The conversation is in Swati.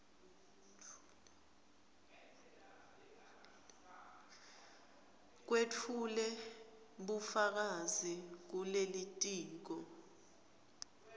wetfule bufakazi kulitiko